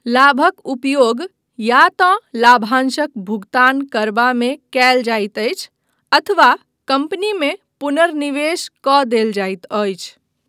लाभक उपयोग या तँ लाभांशक भुगतान करबामे कयल जाइत अछि अथवा कंपनीमे पुनर्निवेश कऽ देल जाइत अछि।